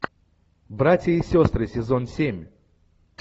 братья и сестры сезон семь